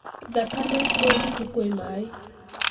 Thakame nĩ nditũ kwĩ maĩ.